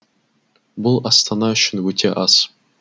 бұл астана үшін өте аз